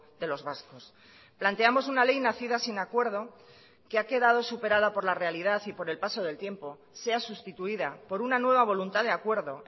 de los vascos planteamos una ley nacida sin acuerdo que ha quedado superada por la realidad y por el paso del tiempo sea sustituida por una nueva voluntad de acuerdo